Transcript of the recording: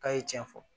K'a ye tiɲɛ fɔ